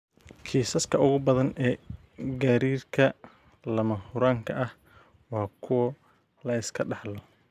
Kiisaska ugu badan ee gariirka lama huraanka ah waa kuwo la iska dhaxlo.